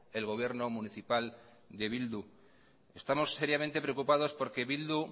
el gobierno municipal de bildu estamos seriamente preocupados porque bildu